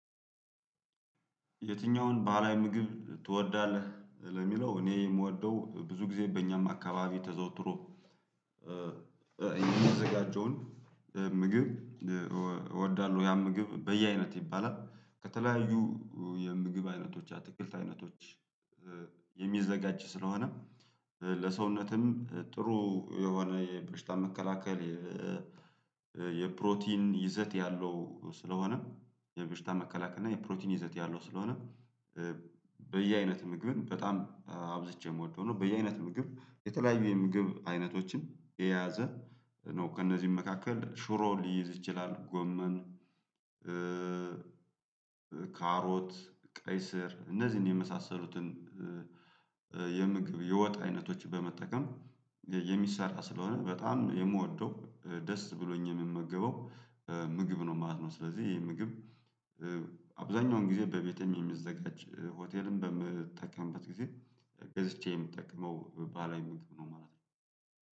የትኛውን ባህላዊ ምግብ ትወዳለህ? ለሚለው እኔ የምወደው ብዙ ጊዜ በእኛም አካባቢ ተዘውትሮ የሚያዘጋጀውን ምግብ እወዳለሁ ያም ምግብ በየአይነት ይባላል። ከተለያዩ የምግብ አይነቶች የአትክልት አይነቶች የሚዘጋጅ ስለሆነ ለሰውነትም ጥሩ የሆነ የበሽታ መከላከል የፕሮቲን ይዘት ያለው ስለሆነም የበሽታ መከላከል እና የፕሮቲን ይዘት ያለው ስለሆነ በየአይነት ምግብ በጣም አብዝቼ የምወደው ነው። በየአይነት ምግብ የተለያዩ የምግብ አይነቶችን የያዘ ነው። ከእነዚህም መካከል ሽሮ ሊይዝ ይችላል፣ ጎመን ካሮት፣ ቀይ ስር እነዚህን የመሳሰሉትን የምግብ የወጥ አይነቶች በመጠቀም የሚሰራ ስለሆነ በጣም የምወደው ደስ ብሎኝ የምመገበው ምግብ ነው ማለት ነው። ስለዚህ ይሄ ምግብ አብዛኛውን ጊዜ በቤቴም የሚዘጋጅ ሆቴልም በምትጠቀምበት ጊዜ ገዝቼ የምጠቅመው ባላይነት ምግብ ነው ማለት ነው።